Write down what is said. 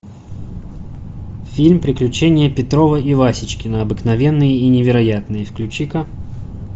фильм приключения петрова и васечкина обыкновенные и невероятные включи ка